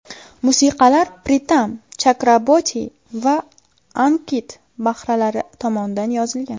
Musiqalar Pritam Chakraborti va Ankit Bahlara tomonidan yozilgan.